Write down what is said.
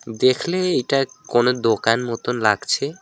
দেখলেই এটা কোন দোকান মতন লাগছে।